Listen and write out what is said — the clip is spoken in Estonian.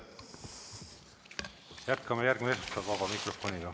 Jätkame järgmine esmaspäev vabas mikrofonis.